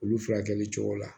Olu furakɛli cogo la